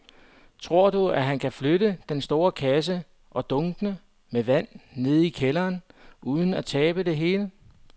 Tror du, at han kan flytte den store kasse og dunkene med vand ned i kælderen uden at tabe det hele?